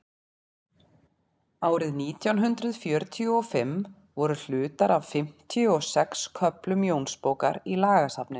árið nítján hundrað fjörutíu og fimm voru hlutar af fimmtíu og sex köflum jónsbókar í lagasafninu